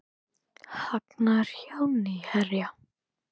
Hagnaður hjá Nýherja